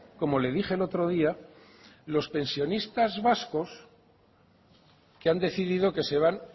como le dije el otro día los pensionistas vascos que han decidido que se van